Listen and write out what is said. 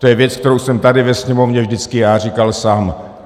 To je věc, kterou jsem tady ve Sněmovně vždycky já říkal sám.